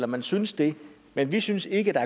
man synes det men vi synes ikke at der